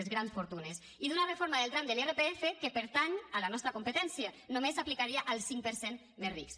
les grans fortunes i d’una reforma del tram de l’irpf que pertany a la nostra competència només s’aplicaria al cinc per cent més rics